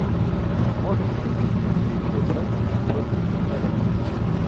можешь найти мне встречу брайтона против эвертона